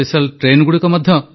ମୋର ପ୍ରିୟ ଦେଶବାସୀଗଣ ନମସ୍କାର